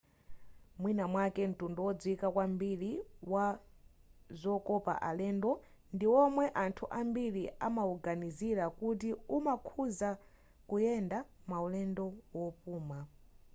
mwina mwake mtundu wodziwika kwambiri wazokopa alendo ndi womwe anthu ambiri amawuganizira kuti umakhuza kuyenda maulendo wopuma